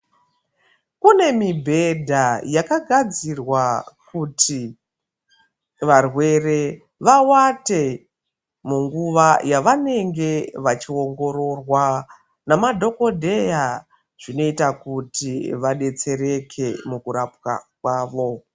Kune mibhedha yaka gadzirwa kuti varwere va wate munguva yavanenge vachi ongororwa na madhokodheya zvinoita kuti vadetsereke muku rapwa kwavo.